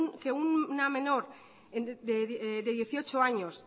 que una menor de dieciocho años